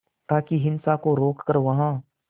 ताकि हिंसा को रोक कर वहां